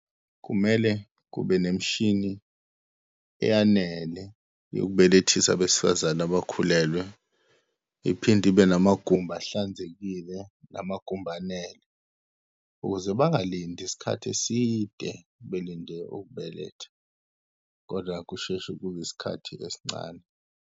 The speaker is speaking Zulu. Kumele kube nemishini eyanele yokubelethisa abesifazane abakhulelwe. Iphinde ibe namagumbi ahlanzekile, namagumbi anele, ukuze bangalindi isikhathi eside, belinde ukubeletha, kodwa kusheshe kube isikhathi esincane.